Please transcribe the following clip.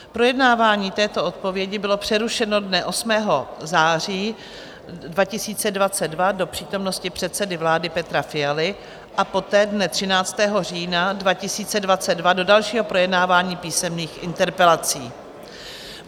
Projednávání této odpovědi bylo přerušeno dne 8. září 2022 do přítomnosti předsedy vlády Petra Fialy a poté dne 13. října 2022 do dalšího projednávání písemných interpelací.